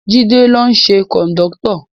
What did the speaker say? Jide ló ṣe kọ̀ndọ́tọ̀